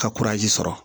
Ka sɔrɔ